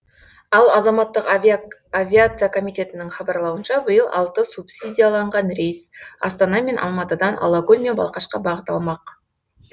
ал азаматтық авиация комитетінің хабарлауынша биыл алты субсидияланған рейс астана мен алматыдан алакөл мен балқашқа бағыт алмақ